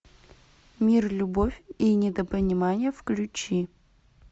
мир любовь и недопонимание включи